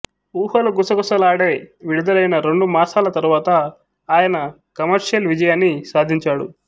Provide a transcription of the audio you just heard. ఊహలు గుసగుసలాడే విడుదలైన రెండు మాసాల తరువాత ఆయన కమర్షియల్ విజయాన్ని సాధించాడు